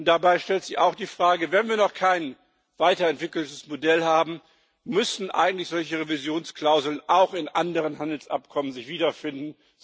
Und dabei stellt sich auch die Frage Wenn wir noch kein weiterentwickeltes Modell haben, müssen sich eigentlich solche Revisionsklauseln nicht auch in anderen Handelsabkommen wiederfinden?